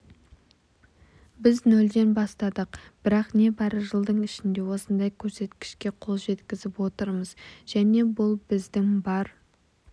біз нөлден бастадық бірақ небары жылдың ішінде осындай көрсеткішке қол жеткізіп отырмыз және бұл біздің бар